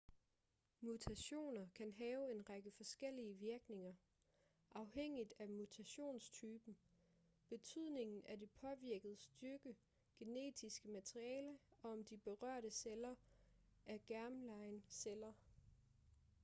mutationer kan have en række forskellige virkninger afhængigt af mutationstypen betydningen af det påvirkede stykke genetiske materiale og om de berørte celler er germline celler